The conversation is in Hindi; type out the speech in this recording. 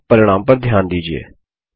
और अब परिणाम पर ध्यान दीजिये